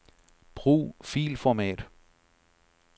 Brug filformat.